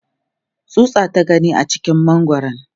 tsutsa ta gani a cikin mangwaran